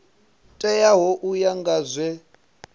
teaho u ya nga zwe